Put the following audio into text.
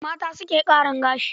Mata su suke ƙarin gashi.